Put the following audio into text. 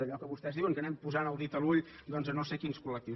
allò que vostès diuen que anem posant el dit a l’ull a no sé quins col·lectius